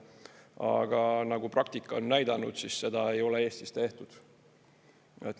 Aga nagu praktika on näidanud, siis seda ei ole Eestis tehtud.